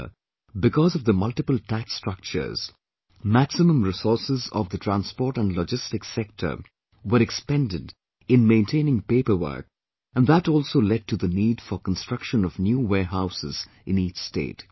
Earlier, because of the multiple tax structures, maximum resources of the transport and logistics sector were expended in maintaining paperwork and that also led to the need for construction of new warehouses in each state